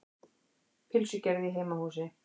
Pylsugerð í heimahúsi.